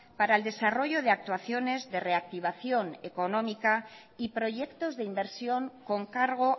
para el desarrollo de actuaciones de reactivación económica y proyectos de inversión con cargo